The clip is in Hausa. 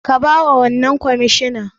Ka bawa wannan kwamishina